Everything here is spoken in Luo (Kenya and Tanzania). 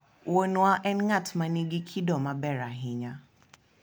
Wuonwa en ng'at ma nigi kido maber ahinya